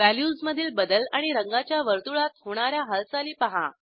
व्हॅल्यूजमधील बदल आणि रंगाच्या वर्तुळात होणा या हालचाली पहा